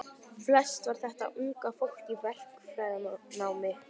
Flest var þetta unga fólk í verkfræðinámi.